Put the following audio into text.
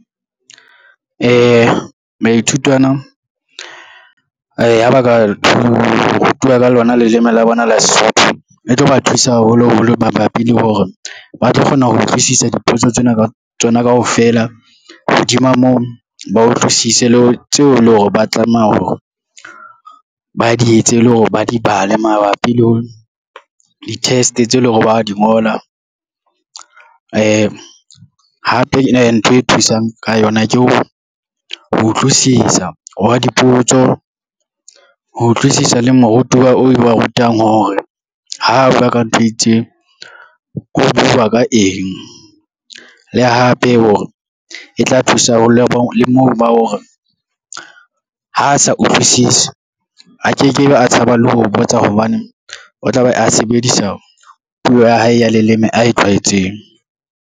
Baithutwana, ha ba ka rutuwa ka lona le leleme la bona la Sesotho e tlo ba thusa haholoholo mabapi le hore ba tlo kgona ho utlwisisa diphotso tsena tsona kaofela, hodima moo, ba utlwisise le tseo e le hore ba tlameha hore ba di etse e lore ba di bale mabapi le ho di-test tseo e le hore ba di ngola. Hape ena ntho e thusang ka yona ke hore ho utlwisisa hwa dipotso, ho utlwisisa le morutiwa eo ba rutang hore ha bua ka ntho e itseng o bua ka eng le hape hore e tla thusa ho leo le moo ba hore ha a sa utlwisisi, a ke ke be a tshaba le ho botsa hobane o tla be a sebedisa puo ya hae ya leleme a e tlwaetseng.